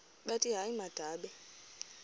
bathi hayi mababe